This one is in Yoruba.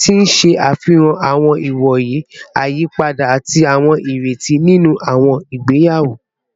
ti n ṣe afihan awọn iwoye iyipada ati awọn ireti ninu awọn igbeyawo